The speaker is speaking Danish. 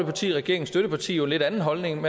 parti regeringens støtteparti jo en lidt anden holdning